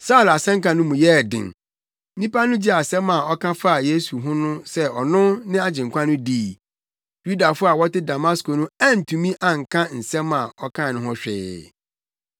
Saulo asɛnka no mu yɛɛ den; nnipa no gyee nsɛm a ɔka faa Yesu ho sɛ ɔno ne Agyenkwa no dii. Yudafo a wɔte Damasko no antumi anka nsɛm a ɔkae no ho hwee.